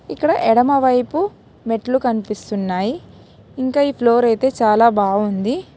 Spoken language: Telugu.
ఇక్కడ ఎడమవైపు మెట్లు కనిపిస్తున్నాయి ఇంకా ఈ ఫ్లోర్ అయితే చాలా బాగుంది.